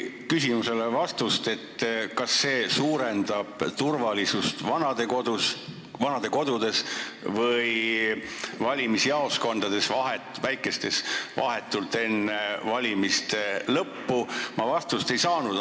Küsimusele, kas see suurendab turvalisust vanadekodudes või väikestes valimisjaoskondades vahetult enne valimise lõppu, ma ikkagi vastust ei saanud.